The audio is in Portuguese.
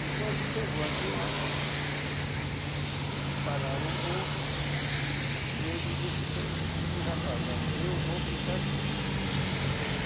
E quando chegou aqui em Óbidos, eles pararam um pouco e ele disse para o para os rapazes, olha, eu vou ficar aqui.